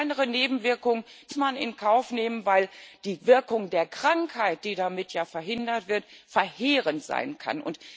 Kleinere Nebenwirkungen muss man in Kauf nehmen, weil die Wirkung der Krankheit, die damit ja verhindert wird, verheerend sein kann.